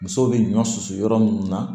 Musow bɛ ɲɔ susu yɔrɔ mun na